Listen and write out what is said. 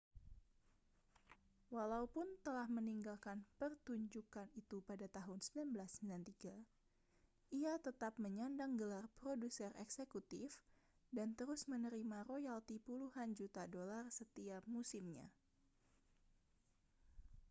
walaupun telah meninggalkan pertunjukan itu pada tahun 1993 ia tetap menyandang gelar produser eksekutif dan terus menerima royalti puluhan juta dolar setiap musimnya